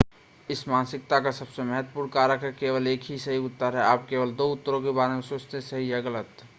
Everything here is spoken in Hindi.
इस मानसिकता का सबसे महत्वपूर्ण कारक है केवल एक ही सही उत्तर है आप केवल दो उत्तरों के बारे में सोचते हैं सही या गलत